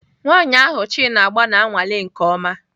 Nwanyị ahụ Chin agba na-anwale nke ọma